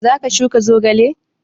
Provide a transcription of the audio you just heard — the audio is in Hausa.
Za ka shuka zogale?